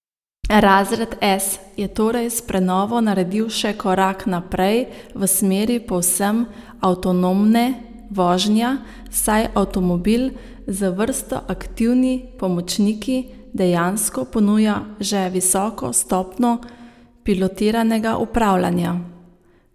Razred S je torej s prenovo naredil še korak naprej v smeri povsem avtonomne vožnja, saj avtomobil z vrsto aktivni pomočniki dejansko ponuja že visoko stopnjo pilotiranega upravljanja.